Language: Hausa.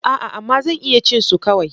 A'a! amma zan iya cin su kawai.